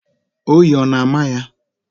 Oyi ọ na-ámà ya?